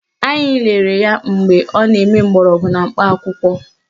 Anyị lelere ya mgbe ọ na-eme mgbọrọgwụ na mkpa akwụkwọ